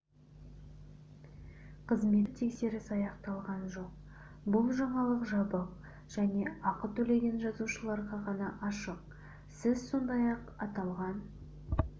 қызметтік тексеріс аяқталған жоқ бұл жаңалық жабық және ақы төлеген жазылушыларға ғана ашық сіз сондай-ақ аталған